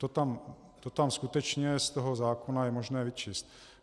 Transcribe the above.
To tam skutečně z toho zákona je možné vyčíst.